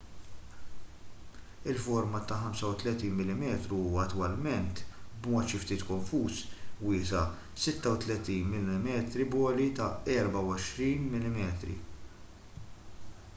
il-format ta' 35mm huwa attwalment b'mod xi ftit konfuż wiesa' 36mm b'għoli ta' 24mm